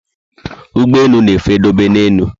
Ụgbọelu na efe dobe na élú